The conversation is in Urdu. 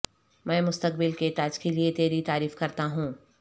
میں مستقبل کے تاج کے لئے تیری تعریف کرتا ہوں